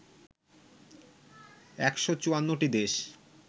১৫৪ টি দেশ